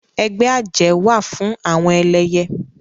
Ẹgbẹ́ àjẹ́ wà fún àwọn ẹlẹyẹ